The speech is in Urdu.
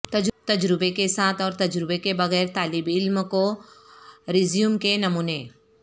تجربے کے ساتھ اور تجربے کے بغیر طالب علم کے ریزیومے کے نمونے